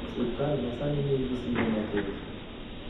Sirkal ma sani ni gi singo mathoth